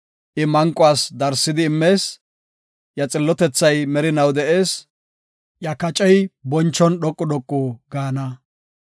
I manquwas darsidi immees; iya xillotethay merinaw de7ees; iya kacey bonchon dhoqu dhoqu gaana.